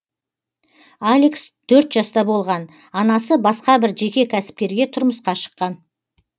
алекс төрт жаста болған анасы басқа бір жеке кәсіпкерге тұрмысқа шыққан